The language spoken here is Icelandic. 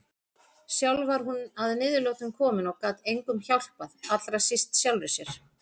Sjálf var hún að niðurlotum komin og gat engum hjálpað, allra síst sjálfri sér.